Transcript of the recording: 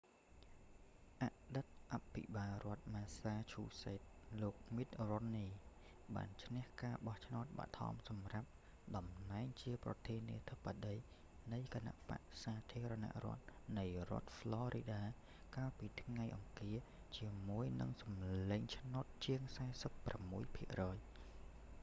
អតីតអភិបាលរដ្ឋ massachusetts លោក mitt romney មីត រ៉ុមនី បានឈ្នះការបោះឆ្នោតបឋមសម្រាប់តំណែងជាប្រធានាធិបតីនៃគណបក្សសាធារណរដ្ឋនៃរដ្ឋ florida កាលពីថ្ងៃអង្គារ ជាមួយនឹងសម្លេងឆ្នោតជាង 46 ភាគរយ